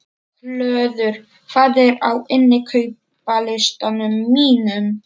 Hlöður, hvað er á innkaupalistanum mínum?